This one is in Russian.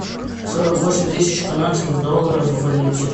сорок восемь тысяч канадских долларов в валюте